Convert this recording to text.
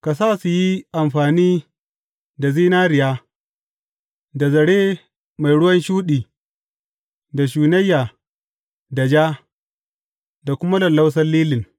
Ka sa su yi amfani da zinariya, da zare mai ruwan shuɗi da shunayya da ja, da kuma lallausan lilin.